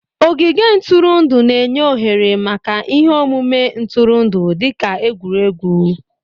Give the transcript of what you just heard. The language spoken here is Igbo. Ogige ntụrụndụ na-enye ohere maka ihe omume ntụrụndụ dị ka egwuregwu